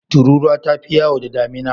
Tururuwa ta fi yawo da damina.